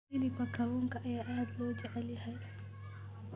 Hilibka kalluunka ayaa aad loo jecel yahay.